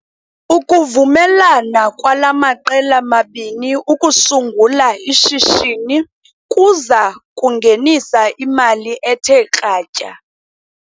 Ukuvumelana kwala maqela mabini ukusungula ishishini kuza kungenisa imali ethe kratya.